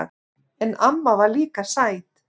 En amma var líka sæt.